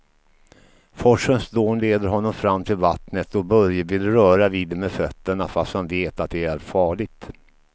Forsens dån leder honom fram till vattnet och Börje vill röra vid det med fötterna, fast han vet att det är farligt.